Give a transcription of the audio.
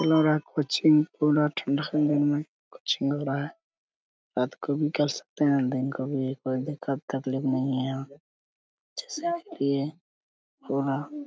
रात को भी कर सकते हैं दिन को भी कोई दिक्कत तकलीफ नहीं है यहां जैसे कि --